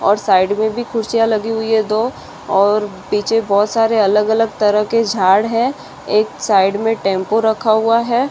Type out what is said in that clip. और साइड मै भी कुर्सिया लगी हुई है दो और पीछे बहुत सारे अलग अलग तरह के झाड़ है एक साइड मै टेम्पो रखा हुआ है।